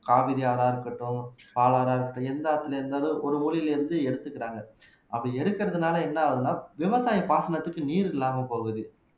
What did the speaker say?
காவிரி ஆறா இருக்கட்டும் பாலாறா இருக்கட்டும் எந்த ஆற்றிலே இருந்தாலும் ஒரு ஊரிலிருந்து எடுத்துக்கிறாங்க அப்படி எடுக்கிறதுனால என்ன ஆகுதுன்னா விவசாய பாசனத்துக்கு நீர் இல்லாம போகுது